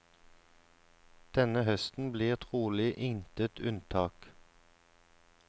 Denne høsten blir trolig intet unntak.